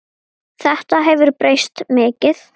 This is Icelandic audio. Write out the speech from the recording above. Þetta hefur breyst mikið.